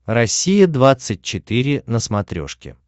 россия двадцать четыре на смотрешке